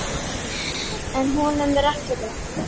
En honum er ekki lokið.